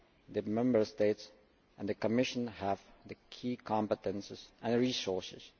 The Member States and the Commission have the key competences and resources.